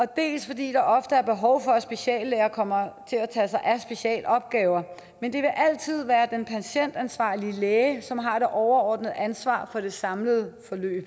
dels er der ofte behov for at speciallæger kommer til at tage sig af specialopgaver men det vil altid være den patientansvarlige læge som har det overordnede ansvar for det samlede